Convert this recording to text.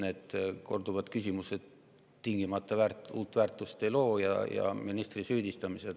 Need korduvad küsimused tingimata uut väärtust ei loo.